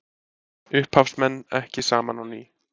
Upphafsmenn ekki saman á ný